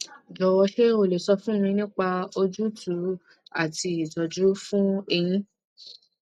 jọwọ ṣé o lè sọ fún mi nípa òjútùú àti ìtọjú fún èyí